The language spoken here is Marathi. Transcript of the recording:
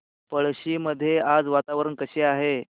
पळशी मध्ये आज वातावरण कसे आहे